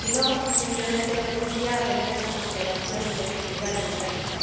si no, simplemente renuncia a tener esa consideración y legitimidad democrática.